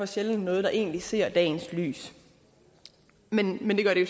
sjældent noget der egentlig ser dagens lys men det gør det